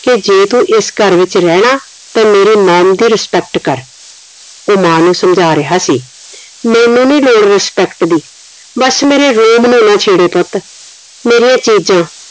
ਕਿ ਜੇ ਤੂੰ ਇਸ ਘਰ ਵਿਚ ਰਹਿਣਾ ਤੇ ਮੇਰੇ mom ਦੀ respect ਕਰ ਤੇ ਮਾਂ ਨੂੰ ਸਮਝਾ ਰਿਹਾ ਸੀ ਮੈਨੂੰ ਨੀ ਲੋੜ respect ਦੀ ਬਸ ਮੇਰੇ room ਨੂੰ ਨਾ ਛੇੜੋ ਪੁੱਤ ਮੇਰੀਆਂ ਚੀਜ਼ਾਂ